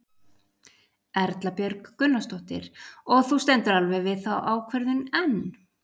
Erla Björg Gunnarsdóttir: Og þú stendur alveg við þá ákvörðun enn?